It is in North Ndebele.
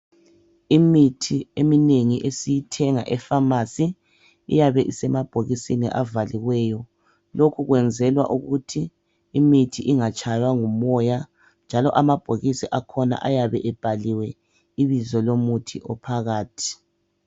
imithi eminengi esiyithenga emafamasi iyabe isemabhokisini avaliweyo lokho kuyenzelwa ukuthi imithi ingatshaywa ngumoya njalo amabhokisi akhona ayabe ebhaliwe ibizo lomuthi ophakathi